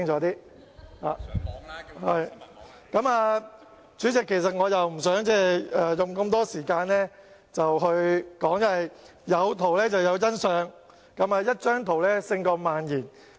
代理主席，我不想花太長時間發言，因為"有圖有真相"，一幅圖片勝萬言。